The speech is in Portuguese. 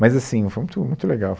Mas assim, foi muito muito legal.